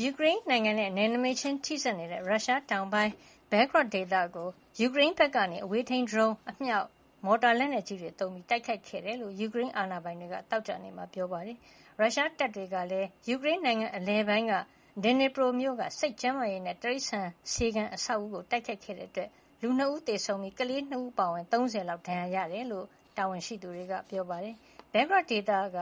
ယူကရိန်းနိုင်ငံနဲ့ နယ်နမိတ်ခြင်းထိစပ်နေတဲ့ ရုရှားနိုင်ငံတောင်ပိုင်း Belgorod ဘဲဂရော့ ဒေသကို ယူကရိန်းဖက်ကနေ အဝေးထိန်း ဒရုန်း၊ အမြောက်၊ မော်တာ လက်နက်ကြီးတွေသုံးကာ တိုက်ခိုက်ခဲ့တယ်လို့ ယူကရိန်းအာဏာပိုင်တွေက သောကြာနေ့မှာ ပြောပါတယ်။ ရုရှားတပ်တွေကလည်း ယူကရိန်းနိုင်ငံ အလယ်ပိုင်းက ဒီနီပရို Dnipro မြို့က စိတ်ကျန်းမာရေးနဲ့ တိရိစ္ဆာန် ဆေးခန်း အဆောက်အဦးကို တိုက်ခိုက်ခဲ့တာကြောင့် လူ ၂ ယောက်သေဆုံးပြီး၊ ကလေး ၂ ဦး အပါအဝင် လူ ၃၀ ဒဏ်ရာရခဲ့တယ်လို့ ယူကရိန်းတာဝန်ရှိသူတွေက ဆိုပါတယ်။ ဘဲဂရော့ ဒေသက